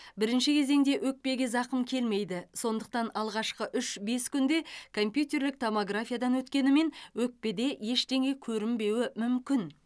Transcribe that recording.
бірінші кезеңде өкпеге зақым келмейді сондықтан алғашқы үш бес күнде компьютерлік томографиядан өткенімен өкпеде ештеңе көрінбеуі мүмкін